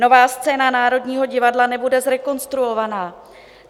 Nová scéna Národního divadla nebude zrekonstruovaná.